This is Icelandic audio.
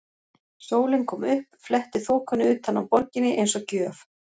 Sólin kom upp, fletti þokunni utan af borginni eins og gjöf.